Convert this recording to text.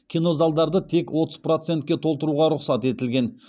кинозалдарды тек отыз процентке толтыруға рұқсат етілген